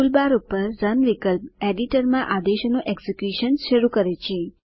tool bar પર run વિકલ્પ એડીટરમાં આદેશોનું એક્ઝિક્યુશન શરૂ કરે છે